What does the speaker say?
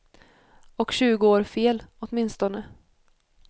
Och tjugo år fel, åtminstone.